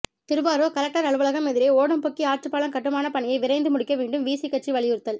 Thiruvarur collector அலுவலகம் எதிரே ஓடம்போக்கி ஆற்றுப்பாலம் கட்டுமான பணியை விரைந்து முடிக்க வேண்டும் விசி கட்சி வலியுறுத்தல்